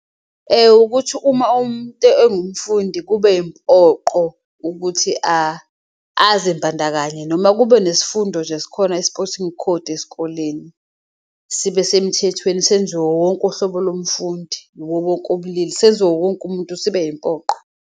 Ukuthi uma umuntu ewumfundi kube impoqo ukuthi azimbandakanye noma kube nesifundo nje esikhona isipothingi khodi esikoleni, sibe semthethweni senziwe wonke uhlobo lomfundi yiwowonke obulili senziwe uwonke umuntu sibe impoqo.